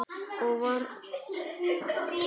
Og það var alveg rétt.